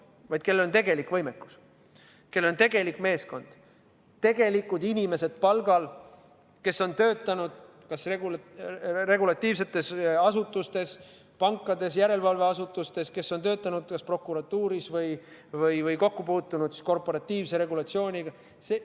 Me tahame bürood, kellel on tegelik võimekus, kellel on tegelik meeskond, palgal inimesed, kes on tegelikult töötanud regulatiivsetes asutustes, pankades, järelevalveasutustes, kes on töötanud kas prokuratuuris või muul moel kokku puutunud korporatiivse regulatsiooniga.